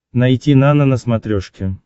найти нано на смотрешке